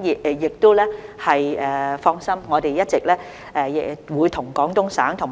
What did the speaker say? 請放心，我們會與廣東省和